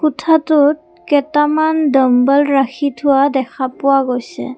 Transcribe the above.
কোঠাটোত কেইটামন ডাম্বল ৰাখি থোৱা দেখা পোৱা গৈছে।